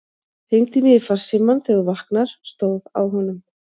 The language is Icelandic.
Hringdu í mig í farsímann þegar þú vaknar, stóð á honum.